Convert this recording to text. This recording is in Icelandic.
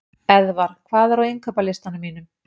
Eðvar, hvað er á innkaupalistanum mínum?